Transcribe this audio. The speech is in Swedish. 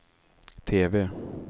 TV